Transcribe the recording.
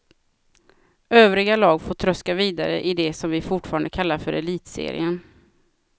Övriga lag får tröska vidare idet som vi fortfarande kallar för elitserien.